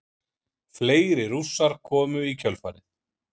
Fleiri Rússar komu í kjölfarið.